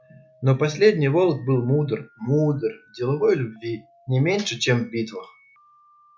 но последний волк был мудр мудр деловой в любви не меньше чем в битвах